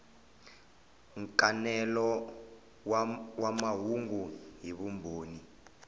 nkanelo wa mahungu hi vumbhoni